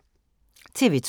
TV 2